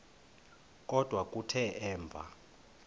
kodwa kuthe emva